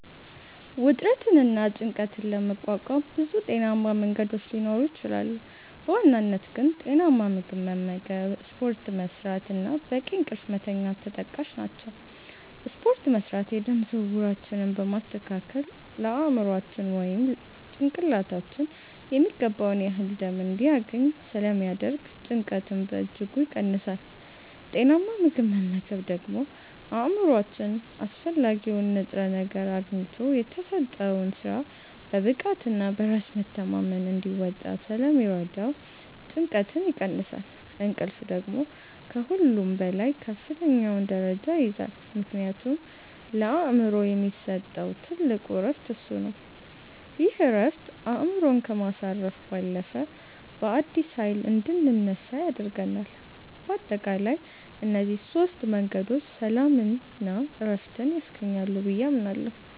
ውጥረትንና ጭንቀትን ለመቋቋም ብዙ ጤናማ መንገዶች ሊኖሩ ይችላሉ፤ በዋናነት ግን ጤናማ ምግብ መመገብ፣ ስፖርት መስራት እና በቂ እንቅልፍ መተኛት ተጠቃሽ ናቸው። ስፖርት መስራት የደም ዝውውራችንን በማስተካከል ለአእምሯችን (ጭንቅላታችን) የሚገባውን ያህል ደም እንዲያገኝ ስለሚያደርግ ጭንቀትን በእጅጉ ይቀንሳል። ጤናማ ምግብ መመገብ ደግሞ አእምሯችን አስፈላጊውን ንጥረ ነገር አግኝቶ የተሰጠውን ሥራ በብቃትና በራስ መተማመን እንዲወጣ ስለሚረዳው ጭንቀትን ይቀንሳል። እንቅልፍ ደግሞ ከሁሉም በላይ ከፍተኛውን ደረጃ ይይዛል፤ ምክንያቱም ለአእምሮ የሚሰጠው ትልቁ ዕረፍት እሱ ነው። ይህ ዕረፍት አእምሮን ከማሳረፍ ባለፈ፣ በአዲስ ኃይል እንድንነሳ ያደርገናል። በአጠቃላይ እነዚህ ሦስት መንገዶች ሰላምና ዕረፍት ያስገኛሉ ብዬ አምናለሁ።